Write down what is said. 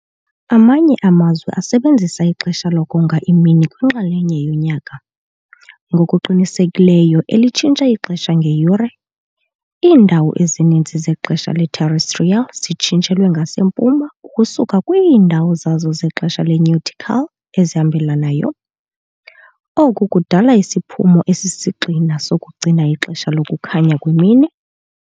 Amanye amazwe asebenzisa ixesha lokonga imini kwinxalenye yonyaka, ngokuqhelekileyo elitshintsha ixesha ngeyure. Iindawo ezininzi zexesha le-terrestrial zitshintshelwe ngasempuma ukusuka kwiindawo zazo zexesha le-nautical ezihambelanayo, oku kudala isiphumo esisisigxina sokugcina ixesha lokukhanya kwemini.